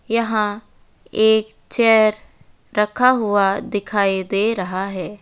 यहां एक चेयर रखा हुआ दिखाई दे रहा है।